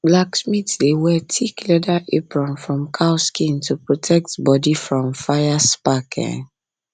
blacksmith dey wear thick leather apron from cow skin to protect body from fire spark um